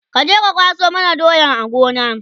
kaje ka kwaso mana doyan a Gona!